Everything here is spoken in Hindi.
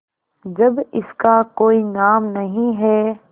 जब इसका कोई नाम नहीं है